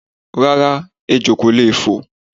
Rárá, ejò ko lee fo